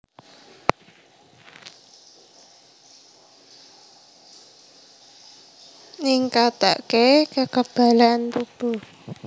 Ningkatake kekebalan tubuh